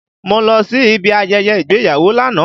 Mo lọ sí ibi ayẹyẹ ìgbéyàwó lánàá